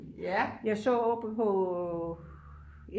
jeg så oppe på